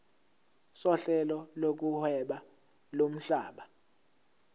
sohlelo lokuhweba lomhlaba